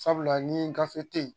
Sabula ni n kafe ten ye.